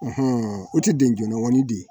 o te den joona wa ni den